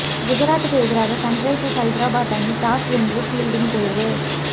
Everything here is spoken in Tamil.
குஜராத்துக்கு எதிராக சன்ரைசர்ஸ் ஐதராபாத் அணி டாஸ் வென்று பீல்டிங் தேர்வு